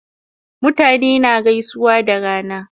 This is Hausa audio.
Mutane na gaisuwa da rana